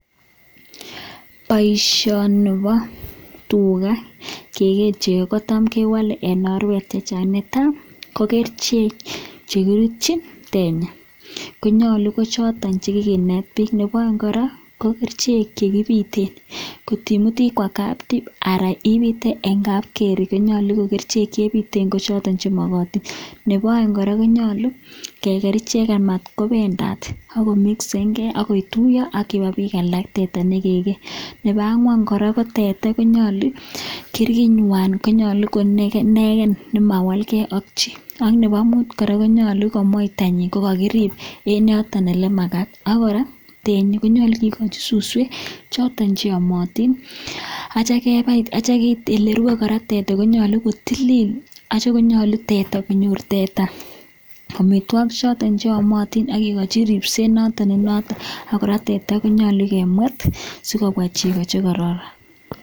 Boisioni bo tuga kegee chego kotam kewale en oret che chang nyaa. Tam kokerichek che kirutchin tenyi konyolu ko chotoon che kiginet biik. Nebo oeng kora ko kerichek che kibiten kotimut ikwa tib anan ipite teri konyolu kokerichek che ibiten ko choto che mogotin. Nebo oeng kora konyolu keger ichek amat kobendat ak komixen ge ak kotuiyo ak chebo biik alak teta ne kegee. Nebo angwan kora ko teta konyolu kirkinywan ko nyolu ko ne inegen ne mawalke ak chi. Ak nebo mut kora konyolu komoitanyin kogakrib en yoton ele magat ak koraa tenyi konyolu kigochi suswek choton che yomotin ak kityo kebai. Ele rwe kora teta konyolu ko tilil ak kityo konyulo konyor tetat amitwogik choto che yomotin ak kigochi ripset ne noton ak kora teta konyolu kemwet sikobwa chego che kororon.